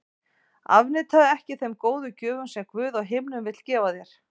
Afneitaðu ekki þeim góðu gjöfum sem Guð á himnum vill gefa þér.